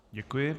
Děkuji.